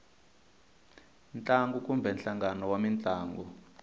ntlangu kumbe nhlangano wa mintlangu